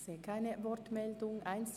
Ich sehe keine Anmeldungen.